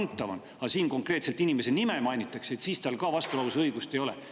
Aga siin ka konkreetselt inimese nime mainitakse, siis tal vastulause õigust ei ole.